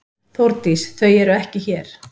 Þórdís: Þau eru ekki hér.